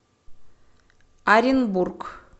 оренбург